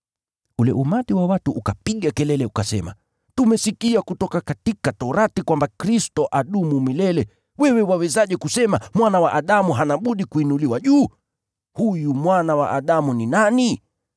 Ule umati wa watu ukapiga kelele ukasema, “Tumesikia kutoka Sheria kwamba ‘Kristo adumu milele,’ wewe wawezaje kusema, ‘Mwana wa Adamu hana budi kuinuliwa juu’ ? Huyu ‘Mwana wa Adamu’ ni nani?”